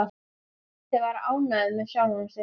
Tóti var ánægður með sjálfan sig.